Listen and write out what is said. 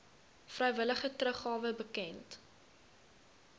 vrywillige teruggawe bekend